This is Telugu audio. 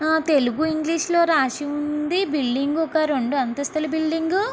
తెలుగు ఇంగ్లీషు లోనే రాసి ఉంది. బిల్డింగు ఒక రెండంతస్తుల బిల్డింగు .